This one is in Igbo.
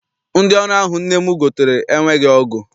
Ndị ọrụ ahụ nne m gotere enweghị ọgụ.